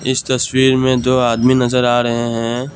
इस तस्वीर में दो आदमी नजर आ रहे हैं।